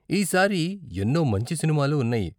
ఈ సారి ఎన్నో మంచి సినిమాలు ఉన్నాయి.